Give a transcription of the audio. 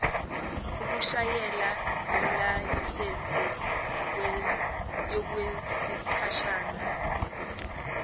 ukushayela yilayisensi yokwesikhashana